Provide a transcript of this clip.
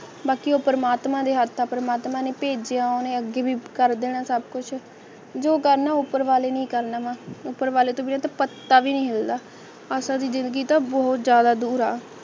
ਬਾਕੀ ਓ ਪਰਮਾਤਮਾ ਦੇ ਹੱਥ ਤਾਂ ਪਰਮਾਤਮਾ ਨੇ ਭੇਜ ਦਿਓ ਹਨੇਰੀ ਵੀ ਕਰਦੇ ਹਨ ਸਾਬਕਾ ਯੂ ਦੋ ਗੱਲਾਂ ਉੱਪਰ ਵਾਲੇ ਨੇ ਕੱਲ੍ਹ ਨਵਾਂ ਨਾਵਲ ਟੋਭੇ ਫ਼ੂਕ ਪੱਤਾ ਵੀ ਨਹੀਂ ਹਿੱਲਦਾ